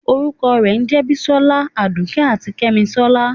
orukọ re jẹ bísòla, àdùké atí kemísólá.